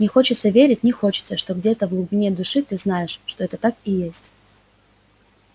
не хочется верить не хочется что где-то в глубине души ты знаешь что это так и есть